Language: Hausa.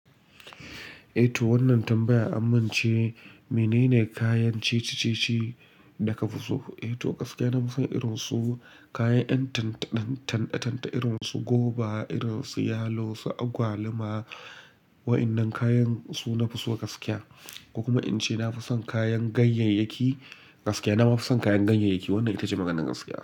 Eh to wannan tambaya amin ce, menene kayan ceci-ceci da ka fi so? Eh to gaskiya na fi son irinsu kayan ɗan tanɗe-tanɗe irinsu goba, irinsu yalo, su agwaluma. Waƴannan kayan su nafi so gaskiya. Ko kuma in ce nafi son kayan ganyayyaki gaskiya. Nama fi son kayan ganyayyaki. Wannan itace maganar gaskiya.